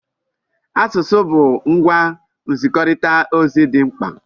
Asụsụ bụ ngwa nzikọrịta ozi dị mkpa.